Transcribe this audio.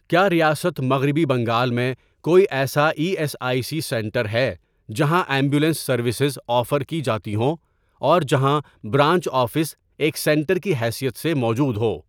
کیا ریاست مغربی بنگال میں کوئی ایسا E S I C centre ہے جہاں ایمبولینس سروسز آفر کی جاتی ہوں اور جہاں برانچ آفس ایک سینٹر کی حیثیت سے موجود ہو؟